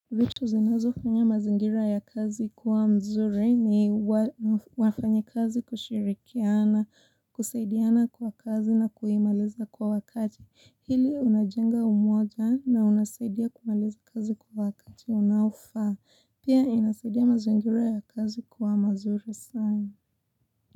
Vitu zinazo fanya mazingira ya kazi kuwa mzuri ni wafanya kazi kushirikiana, kusaidiana kwa kazi na kuimaliza kwa wakati. Hili unajenga umoja na unasaidia kumaliza kazi kwa wakati. Unaufa. Pia inasaidia mazingira ya kazi kuwa mazuri sana.